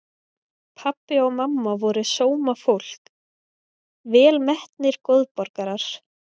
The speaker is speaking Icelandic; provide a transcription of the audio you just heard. Pabbi og mamma voru sómafólk, velmetnir góðborgarar.